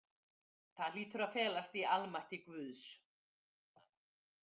Það hlýtur að felast í almætti Guðs.